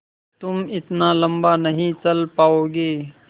तुम इतना लम्बा नहीं चल पाओगे